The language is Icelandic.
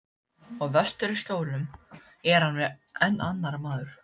Og vestur í Skjólum er hann enn annar maður.